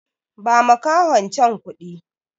Ba makahon can kuɗi!